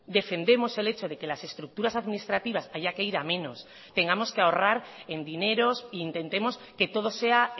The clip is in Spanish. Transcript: defendemos el hecho de que las estructuras administrativas haya que ir a menos tengamos que ahorrar en dineros intentemos que todo sea